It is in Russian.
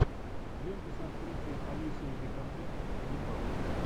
лента с актрисой алисой викандер ганнибал